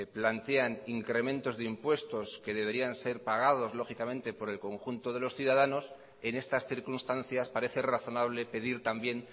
plantean incrementos de impuestos que deberían ser pagados lógicamente por el conjunto de los ciudadanos en estas circunstancias parece razonable pedir también